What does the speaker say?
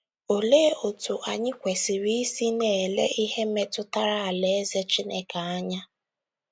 OLEE otú anyị kwesịrị isi na - ele ihe metụtara Alaeze Chineke anya?